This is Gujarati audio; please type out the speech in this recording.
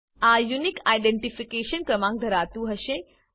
આ યુનિક આઈડેંટીફિકેશન ક્રમાંક ધરાવતું હશે